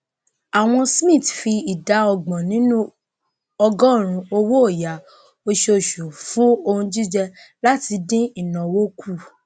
awon smiths fi ìdá ọgbọn nínú ọgọọrún owóọyà osoòsù fún ohun jíjẹ láti dín ìnáwó kù